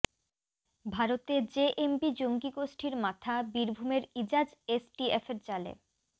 ভারতে জেএমবি জঙ্গি গোষ্ঠীর মাথা বীরভূমের ইজাজ এসটিএফের জালে